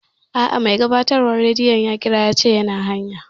A'a, mai gabatarwan radiyon ya ƙira yace yana hanya